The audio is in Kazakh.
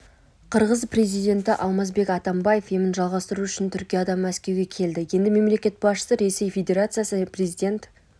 қырғыз президенті алмазбек атамбаев емін жалғастыру үшін түркиядан мәскеуге келді енді мемлекет басшысы ресей федерациясы президент